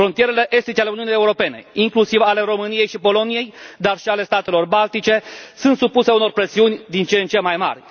Frontierele estice ale Uniunii Europene, inclusiv ale României și Poloniei, dar și ale statelor baltice, sunt supuse unor presiuni din ce în ce mai mari.